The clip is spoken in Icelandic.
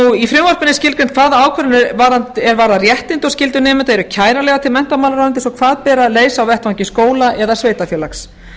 skólastefnu í frumvarpinu er skilgreint hvaða ákvarðanir er varðar réttindi og skyldur nemenda eru kæranlegar til menntamálaráðuneytis og hvað ber að leita á vettvangi skóla eða sveitarfélags